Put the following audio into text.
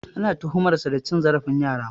Ana tuhumar sa da cin zarafin yara.